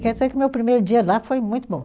Quer dizer que meu primeiro dia lá foi muito bom.